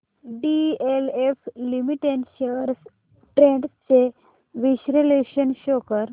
DLF limited shares trends चे विश्लेषण show कर